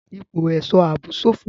Ipò ẹ̀ṣọ́ ààbò ṣófo.